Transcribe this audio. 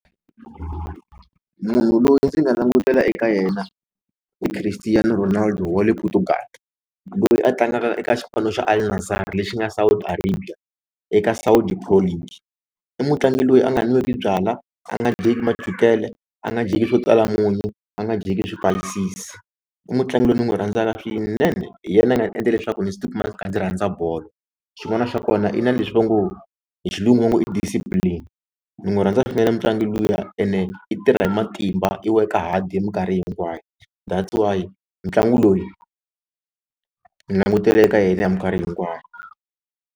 Munhu loyi ndzi nga langutela eka yena ti Cristiano Ronaldo wa le Portugal loyi a tlangaka eka xipano xa Al-Nassr lexi nga Saudi Arabia eka Saudi Pro league i mutlangi loyi a nga nweki byalwa a nga dyeki machukele a nga dyeki swo tala munyu a nga dyeki swipayisisi i mutlangi loyi ni n'wi rhandzaka swinene hi yena a nga ndzi endla leswaku ndzi tikuma ndzi rhandza bolo xin'wana xa kona i na leswi va ngo hi xilungu va ngo i discipline ni n'wi rhandza swinene mitlangu luya ene i tirha hi matimba i work-a hard hi minkarhi hinkwayo that's why mitlangu loyi ni langutela eka yena hi minkarhi hinkwayo.